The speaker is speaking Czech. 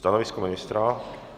Stanovisko ministra?